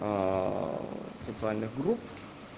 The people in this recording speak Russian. социальных групп